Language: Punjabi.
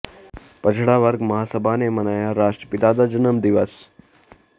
ਪਛੜਾ ਵਰਗ ਮਹਾਂਸਭਾ ਨੇ ਮਨਾਇਆ ਰਾਸ਼ਟਰਪਿਤਾ ਦਾ ਜਨਮ ਦਿਵਸ